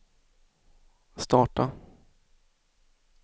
starta